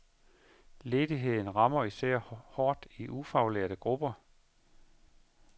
Ledigheden rammer især hårdt i ufaglærte grupper.